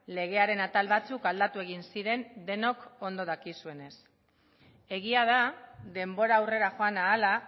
legearen atal batzuk aldatu egin ziren denok ondo dakizuenez egia da denbora aurrera joan ahala